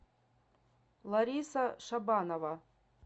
лариса шабанова